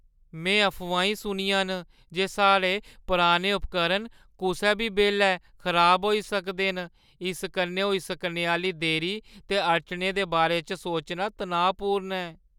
में अफवाहीं सुनियां न जे साढ़े पुराने उपकरण कुसै बी बेल्लै खराब होई सकदे न। इस कन्नै होई सकने आह्‌ली देरी ते अड़चनें दे बारे च सोचना तनाऽपूर्ण ऐ ।